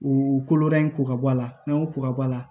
U koloda in ko ka bɔ ala n'an y'o ko ka bɔ a la